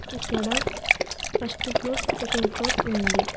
ఇక్కడ first floor second floor ఉంది.